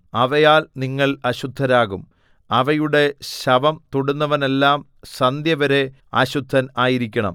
അവയാൽ നിങ്ങൾ അശുദ്ധരാകും അവയുടെ ശവം തൊടുന്നവനെല്ലാം സന്ധ്യവരെ അശുദ്ധൻ ആയിരിക്കണം